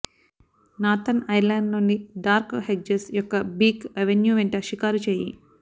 northern Ireland లోని dark hedges యొక్క beech avenue వెంట షికారు చేయు